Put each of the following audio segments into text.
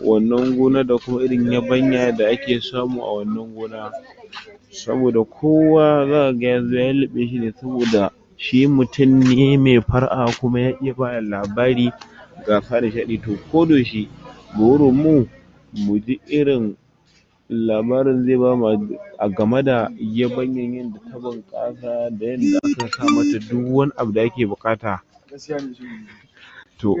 wannan gonar da kuma irin yabanya da ake samu a wannan gona. Saboda kowa zakaga yazo ya luuluɓe shi ne, saboda shi myun ne mai fara'a, kuma ya iya bada labari, ga to ko da yaushe, burin mu muji irin labarin zai bamu a game da yabanyanyan da ta bunƙasa, da yadda ake sa mata duk wani abu da ake buƙata. To,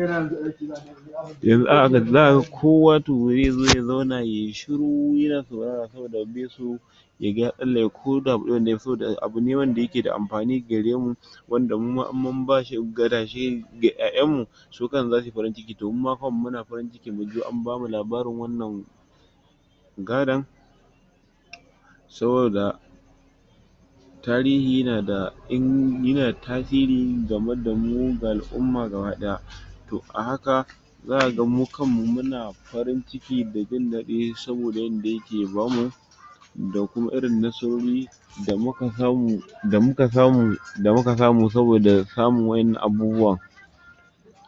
za kaga kowa to ze zo ya zauna yai shiru yana saurara, saboda bai so yaga ya tsallake ko da gutsire ne, saboda abu ne wanda yake da amfani gare mu, wanda mu ma in mun bashi gadashe ga ƴaƴan mu, su kan su zasuyi farin ciki, to mu ma kanmu muna farin ciki an bamu labarin wannan gadon. Saboda, tarihi yina da tasiri game da mu, ga al'umma gaba ɗaya. To, a haka za kaga mu kanmu muna farin ciki da jin daɗi, saboda yadda yake bamu, da kuma irin nasarori da muka samu, da muka samu, da muka samu saboda samun wa'innan abubuwan.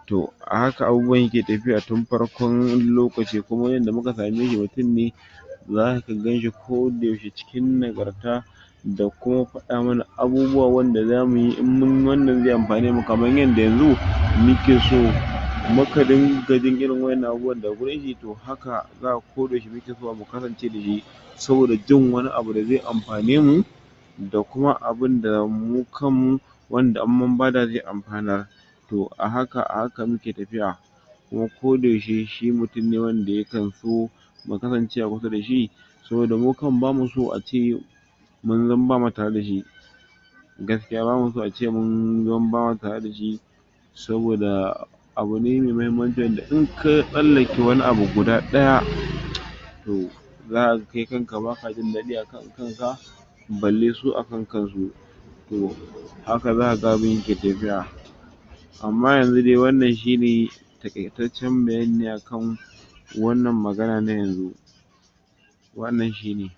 To, a haka abubuwan ya ke tafiya tun farkon lokaci, kuma yanayin da muka sameshi mutun ne zaka ganshi ko da yaushe cikin nagarta, da kuma faɗa mana abubuwa wanda za muyi, in munyi wannan zai amfane mu, kamar yadda yanzu muke so, muka dinga jin irin wa'innan abubuwan daga wurin shi, to haka zakaga ko da yaushe mu ke zuwa mu kasance da shi, saboda jin wani abu da zai amfane mu, da kuma abunda mu kan mu, wanda in bada zai amfanar. To, a haka a haka muke tafiya, kuma ko da yaushe, shi mutun ne wanda ya kan so mu kasance a kusa dashi. Saboda mu kan mu, bamuso ace yau mun zam bama tare dashi. Gaskiya bamu so a ce mun zama ba ma tare dashi, saboda abu ne mai muhimmanci wanda in ka tsallake wani abu guda ɗaya, to za kaga kai kanka baka jin daɗi a kan kanka, balle su a kan kansu. To, haka za kaga abun yake tafiya, amma yanzu dai wannan shi ne taƙaitaccen bayani ne a kan wannan magana na yanzu. Wannan shi ne.